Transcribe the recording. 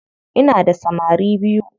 Ina da samari biyu.